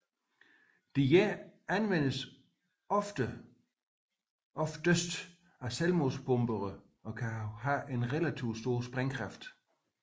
Disse anvendes oftest af selvmordsbombere og kan have en relativt stor sprængkraft